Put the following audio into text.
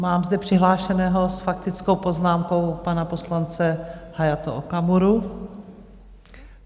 Mám zde přihlášeného s faktickou poznámkou pana poslance Hayato Okamuru.